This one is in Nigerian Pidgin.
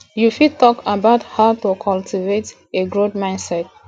you fit talk about how to cultivate a growth mindset